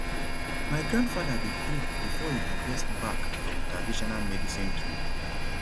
my grandfather dey pray before e harvest bark from traditional medicine tree